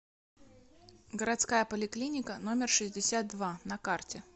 городская поликлиника номер шестьдесят два на карте